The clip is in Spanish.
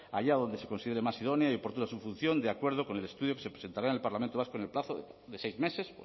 allá donde se considere más idónea y oportuna su función de acuerdo con el estudio que se presentará en el parlamento vasco en el plazo de seis meses